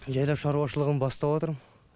жайлап шаруашылығым бастауатырм